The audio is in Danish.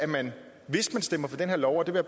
man stemmer for den her lov og det vil